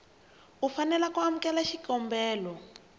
u fanela ku amukela xikombelo